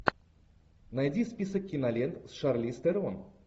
найди список кинолент с шарлиз терон